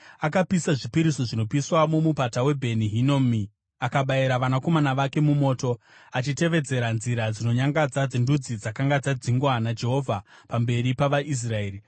Akapisa zvipiriso zvinopiswa mumupata weBheni Hinomi akabayira vanakomana vake mumoto, achitevedzera nzira dzinonyangadza dzendudzi dzakanga dzadzingwa naJehovha pamberi pavaIsraeri.